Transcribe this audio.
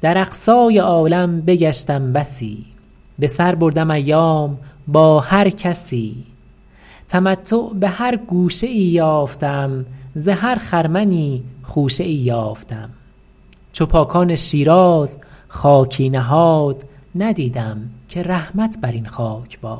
در اقصای عالم بگشتم بسی به سر بردم ایام با هر کسی تمتع به هر گوشه ای یافتم ز هر خرمنی خوشه ای یافتم چو پاکان شیراز خاکی نهاد ندیدم که رحمت بر این خاک باد